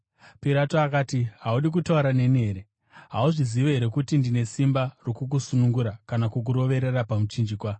Pirato akati, “Haudi kutaura neni here? Hauzivi here kuti ndine simba rokukusunungura kana kukuroverera pamuchinjikwa?”